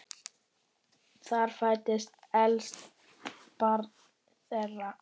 Þar fæddist elsta barn þeirra.